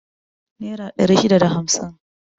Nera ɗari shida da hamsin